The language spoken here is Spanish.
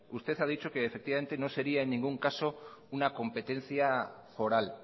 usted ha dicho que efectivamente no sería en ningún caso una competencia foral